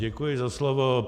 Děkuji za slovo.